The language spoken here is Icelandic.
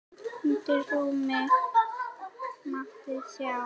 Undir rúmi mátti sjá.